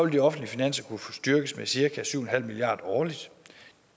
de offentlige finanser kunne blive styrket med cirka syv en halv milliard kroner årligt